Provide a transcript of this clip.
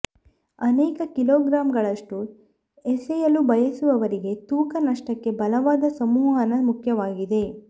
ಅನೇಕ ಕಿಲೋಗ್ರಾಂಗಳಷ್ಟು ಎಸೆಯಲು ಬಯಸುವವರಿಗೆ ತೂಕ ನಷ್ಟಕ್ಕೆ ಬಲವಾದ ಸಂಮೋಹನ ಮುಖ್ಯವಾಗಿದೆ